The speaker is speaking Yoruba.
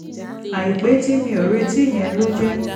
àìpé tí mi ò retí yẹn ló jẹ́